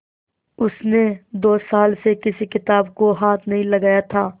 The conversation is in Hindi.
उसने दो साल से किसी किताब को हाथ नहीं लगाया था